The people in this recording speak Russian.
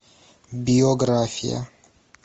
биография